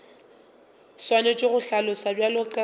swanetše go hlaloswa bjalo ka